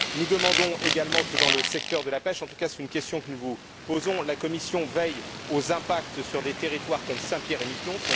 Nous demandons également que, dans le secteur de la pêche en tout cas, c'est une question que nous vous posons la Commission veille aux impacts sur des territoires comme Saint Pierre et Miquelon.